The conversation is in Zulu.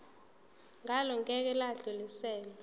ngalo ngeke lwadluliselwa